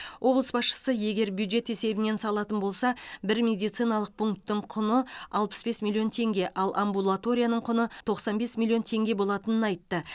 облыс басшысы егер бюджет есебінен салатын болса бір медициналық пунктің құны алпыс бес миллион теңге ал амбулаторияның құны тоқсан бес миллион теңге болатынын айтты